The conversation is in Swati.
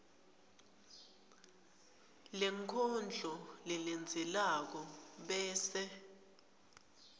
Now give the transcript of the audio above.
lenkondlo lelandzelako bese